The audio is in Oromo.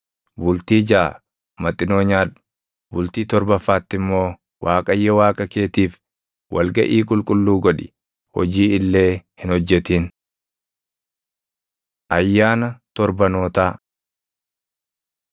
Bultii jaʼa maxinoo nyaadhu; bultii torbaffaatti immoo Waaqayyo Waaqa keetiif wal gaʼii qulqulluu godhi; hojii illee hin hojjetin. Ayyaana Torbanootaa 16:9‑12 kwf – Lew 23:15‑22; Lak 28:26‑31